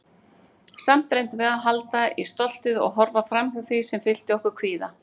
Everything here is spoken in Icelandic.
Samt reyndum við að halda í stoltið- og horfa framhjá því sem fyllti okkur kvíða.